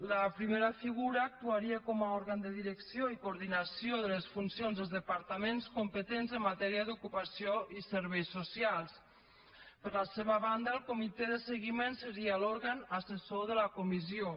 la primera figura actuaria com a òrgan de direcció i coordinació de les funcions dels departaments competents en matèria d’ocupació i serveis socials per la seva banda el comitè de seguiment seria l’òrgan assessor de la comissió